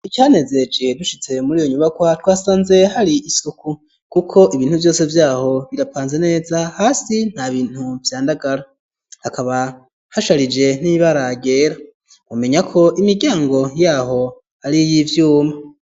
Icanezeje, dushitse muri iyo nyubakwa, twasanze hari isuku; kuko ibintu vyose vy'aho, birapanze neza; hasi nta bintu vyandagara; hakaba hasharije, n'ibara ryera; mwomenya ko, imiryango y'aho ari iy'ivyuma.